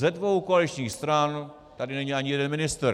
Ze dvou koaličních stran tady není ani jeden ministr.